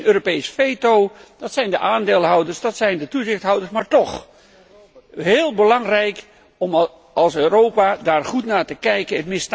Geen Europees veto, dat zijn de aandeelhouders, dat zijn de toezichthouders, maar toch heel belangrijk om als Europa daar goed naar te kijken.